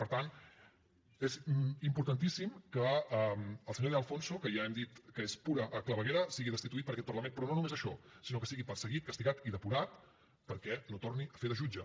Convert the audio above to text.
per tant és importantíssim que el senyor de alfonso que ja hem dit que és pura claveguera sigui destituït per aquest parlament però no només això sinó que sigui perseguit castigat i depurat perquè no torni a fer de jutge